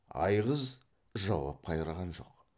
айғыз жауап қайырған жоқ